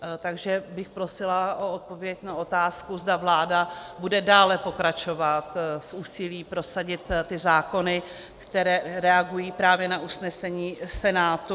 Takže bych prosila o odpověď na otázku, zda vláda bude dále pokračovat v úsilí prosadit ty zákony, které reagují právě na usnesení Senátu.